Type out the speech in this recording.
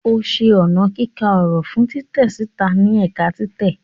O ṣe ọna kika ọrọ fun titẹ sita ni ẹka titẹ.